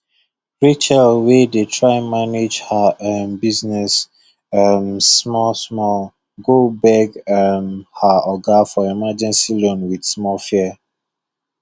rachel wey dey try manage her um business um small small go beg um her oga for emergency loan with small fear